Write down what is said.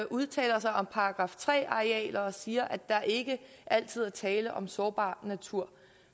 udtaler sig om § tre arealer og siger at der ikke altid er tale om sårbar natur